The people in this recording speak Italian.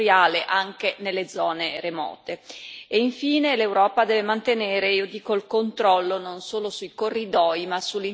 E infine l'Europa deve mantenere, io dico, il controllo non solo sui corridoi ma sull'intera rete logistica in generale.